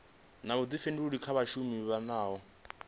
na vhuḓifhinduleli kha vhashumi nahone